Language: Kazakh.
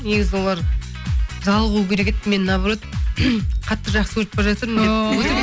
негізі олар жалығу керек еді мен наоборот қатты жақсы көріп бара жатырмын деп